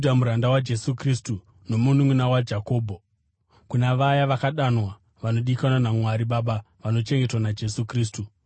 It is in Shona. Judha, muranda waJesu Kristu nomununʼuna waJakobho, kuna vaya vakadanwa, vanodikanwa naMwari Baba, vanochengetwa naJesu Kristu: